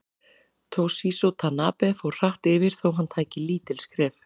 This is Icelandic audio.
Toshizo Tanabe fór hratt yfir þó hann tæki lítil skref.